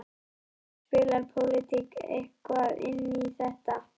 Björn: Spilar pólitík eitthvað inn í þetta?